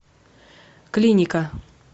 клиника